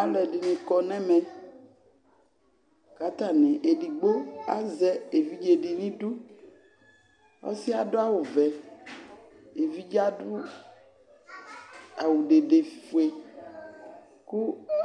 Alʋɛdɩnɩ kɔ nʋ ɛmɛ kʋ atanɩ edigbo azɛ evidze dɩ nʋ idu Ɔsɩ yɛ adʋ awʋvɛ, evidze yɛ adʋ awʋ dedefue kʋ